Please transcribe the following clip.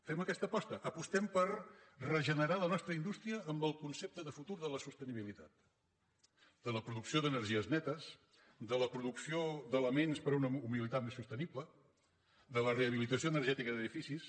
fem aquesta aposta apostem per regenerar la nostra indústria amb el concepte de futur de la sostenibilitat de la producció d’energies netes de la producció d’elements per una mobilitat més sostenible de la rehabilitació energètica d’edificis